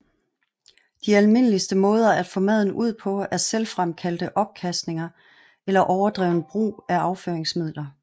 De almindeligste måder at få maden ud på er selvfremkaldte opkastninger eller overdreven brug af afføringsmidler